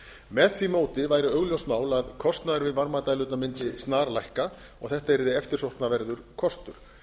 með því móti væri augljóst mál að kostnaður við varmadælurnar mundi snarlækka og þetta yrði eftirsóknarverður kostur